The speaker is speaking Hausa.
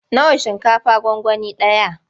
Nawa shinkafa gwangwani ɗaya?